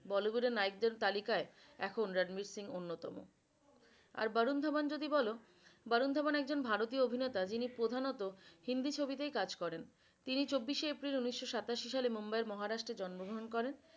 Bollywood এর নায়ক দের তালিকায় এখন রানবির সিং অন্যতম, আর বরুন দাভান যদি বল বরুন দাভান হল একজন ভারতীয় অভিনেতা। যিনি প্রধানত হিন্দি ছবিতে কাজ করেন তিনি চব্বিশে এপ্রিল উনিশশ সাতাশি সালে মুম্বাইয়ের মহারাষ্ট্র জন্মগ্রহণ করেন।